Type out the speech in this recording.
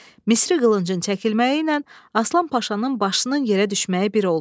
Misri qılıncın çəkilməyiylə Aslan Paşanın başının yerə düşməyi bir oldu.